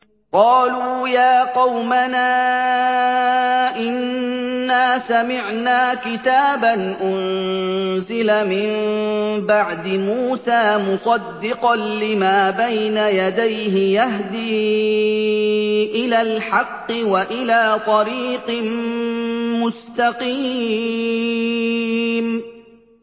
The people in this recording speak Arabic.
قَالُوا يَا قَوْمَنَا إِنَّا سَمِعْنَا كِتَابًا أُنزِلَ مِن بَعْدِ مُوسَىٰ مُصَدِّقًا لِّمَا بَيْنَ يَدَيْهِ يَهْدِي إِلَى الْحَقِّ وَإِلَىٰ طَرِيقٍ مُّسْتَقِيمٍ